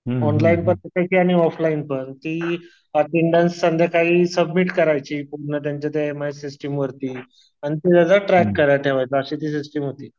Online आणि offline पण ती एट्ट्ण्डडेन्स संध्याकाळी सबमिट करायची पूर्ण त्या त्यांच्या एमआई सिस्टीम वरती. आणि ट्रॅक करायला ठेवायचा अशी ती सिस्टीम होती.